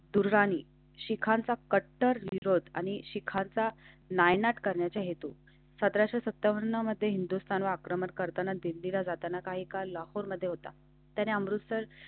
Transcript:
दुर्राणी शिखांचा कट्टर विरोध आणि शिखाचा नायनाट करण्याच्या हेतु येतो. सतरा सत्तावन्न मध्ये हिंदुस्थान वा क्रमांक करताना दिल्लीला जाताना काही काळ लाखोंमध्ये होता. त्याने अमृतसर.